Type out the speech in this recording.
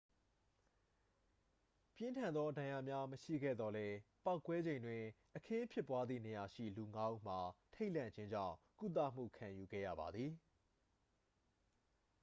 ပြင်းထန်သော ဒဏ်ရာများ မရှိခဲ့သော်လည်း ပေါက်ကွဲချိန်တွင် အခင်းဖြစ်ပွားသည့်နေရာရှိ လူငါးဦးမှာ ထိတ်လန့်ခြင်းကြောင့် ကုသမှု ခံယူခဲ့ရပါသည်